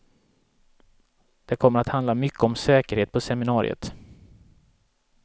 Det kommer att handla mycket om säkerhet på seminariet.